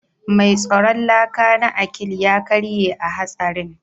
Mai tsaron laka na Akil ya karye a hatsarin